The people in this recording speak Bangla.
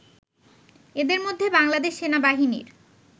এদের মধ্যে বাংলাদেশ সেনাবাহিনীর